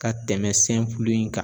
Ka tɛmɛ in kan.